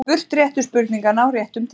Spurt réttu spurninganna á réttum tíma.